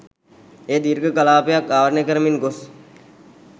එය දීර්ඝ කලාපයක් ආවරණය කරමින් ගොස්